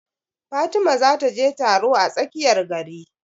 Fatima za ta je taro a tsakiyar gari